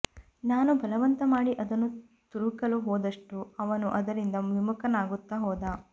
ನಾನು ಬಲವಂತ ಮಾಡಿ ಅದನ್ನು ತುರುಕಲು ಹೋದಷ್ಟೂ ಅವನು ಅದರಿಂದ ವಿಮುಖನಾಗುತ್ತಾ ಹೋದ